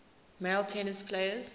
male tennis players